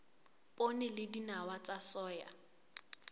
poone le dinawa tsa soya